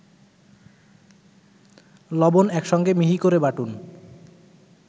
লবণ একসঙ্গে মিহি করে বাটুন